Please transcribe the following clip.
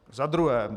Za druhé.